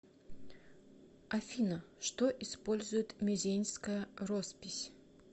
афина что использует мезеньская роспись